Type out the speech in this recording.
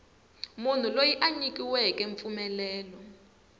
munhu loyi a nyikiweke mpfumelelo